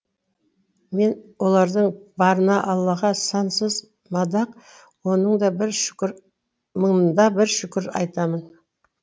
мен олардың барына аллаға сансыз мадақ мың да бір шүкір айтамын